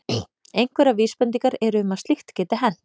Einhverjar vísbendingar eru um að slíkt geti hent.